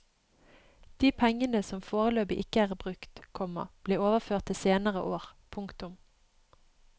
De pengene som foreløpig ikke er brukt, komma blir overført til senere år. punktum